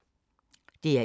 DR1